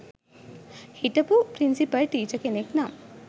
හිටපු principal teacher කෙනෙක් නම්